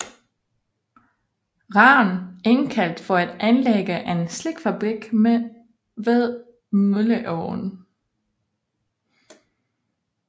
Rahn indkaldt for at anlægge en silkefabrik ved Mølleåen